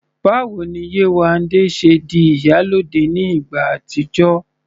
Báwo ni Yéwandé ṣe di "ìyálóde" ní ìgbà àtijọ́?